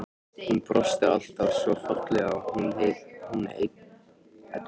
Hún brosti alltaf svo fallega, hún Edita.